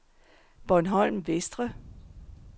Bornholm Vestre